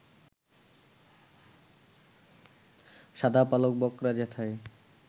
শাদা পালক বকরা যেথায়